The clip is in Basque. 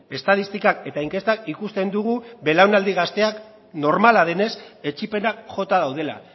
estatistikak eta inkestak ikusten dugu belaunaldi gazteak normala denez etzipenak jota daudela